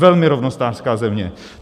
Velmi rovnostářská země.